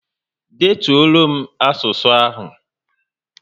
Detulo m asụsụ ahụ!